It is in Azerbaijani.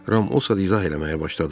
Ram o saat izah eləməyə başladı.